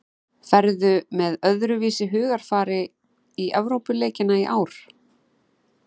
Ferðu með öðruvísi hugarfari í Evrópuleikina í ár?